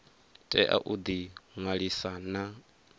tea u ḓi ṅwalisa na